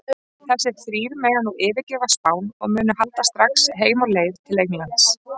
Þessir þrír mega nú yfirgefa Spán og munu halda strax heim á leið til Englands.